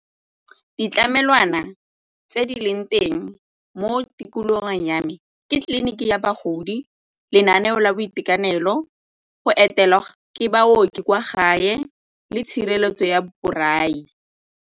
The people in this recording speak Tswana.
Ditlamelwana tse di leng teng mo tikologong ya me ke tleliniki ya bagodi, lenaneo la boitekanelo, go etela ke baoki kwa gae le tshireletso ya borai.